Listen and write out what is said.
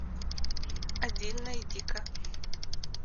один найди ка